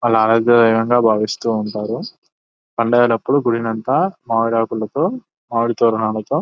వాళ్ళ ఆరోగ్య భావిస్తూ ఉంటారు. పండగలప్పుడు గుడినంత మావిడాకులతో మావిడితోరణాలతో--